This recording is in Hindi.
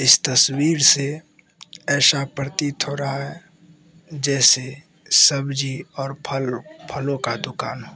तस्वीर से ऐसा प्रतीत हो रहा है जैसे सब्जी और फलर फलों का दुकान हो।